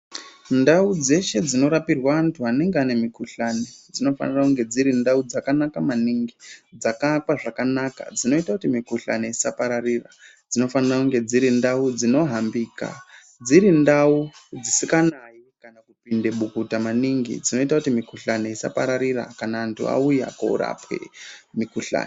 Ndau dzeshe dzino rapirwe antu anenge ane mukhuhlani, dzinofanira kunge dziri ndau dzakanaka maningi, dzakaakwa zvakanaka , dzinoita kuti mikhuhlani isa pararira, dzinofanira kunge dziri ndau dzino hambika, dziri ndau dzisinganayi kana kupinde bukuta maningi, dzinoita kuti mikhuhlani isapararira kana antu vauya koorapwe mikhuhlani.